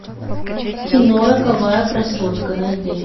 кино роковая красотка найди